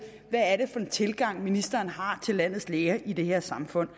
hvad det er for en tilgang ministeren har til landets læger i det her samfund